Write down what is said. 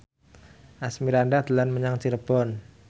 Asmirandah dolan menyang Cirebon